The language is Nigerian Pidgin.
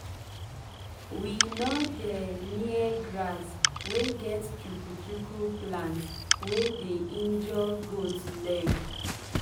we nor dey near grass wey get chuku chuku plant wey dey injure goat leg.